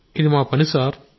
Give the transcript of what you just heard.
ఇది మా పని సార్